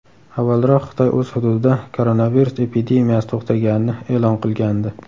Avvalroq Xitoy o‘z hududida koronavirus epidemiyasi to‘xtaganini e’lon qilgandi .